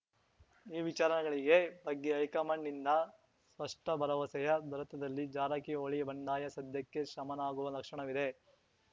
ಈ ವಿಚಾರಗಳಿಗೆ ಬಗ್ಗೆ ಹೈಕಮಾಂಡ್‌ನಿಂದ ಸ್ಪಷ್ಟಭರವಸೆಯ ದೊರೆತದಲ್ಲಿ ಜಾರಕಿಹೊಳಿ ಬಂಡಾಯ ಸದ್ಯಕ್ಕೆ ಶಮನವಾಗುವ ಲಕ್ಷಣವಿದೆ